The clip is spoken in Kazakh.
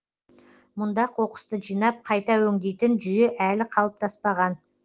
мұнда қоқысты жинап қайта өңдейтін жүйе әлі қалыптаспаған